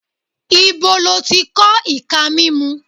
Ibo ló ti kọ́ ìka mímú?